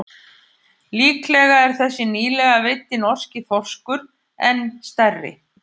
Líklega er þessi nýlega veiddi norski þorskur enn stærri.